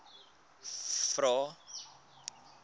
vvvvrae